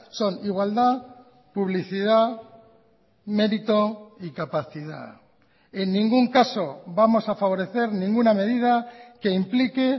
son igualdad publicidad mérito y capacidad en ningún caso vamos a favorecer ninguna medida que implique